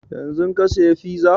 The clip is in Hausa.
Yanzun ka saya fiza?